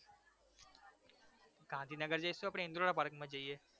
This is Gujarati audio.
ગાંધીનગર જઈશુ આપડે ઈન્દ્રોડા પાર્કમાં જઈએ